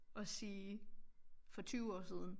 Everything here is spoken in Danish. Og sige for 20 år siden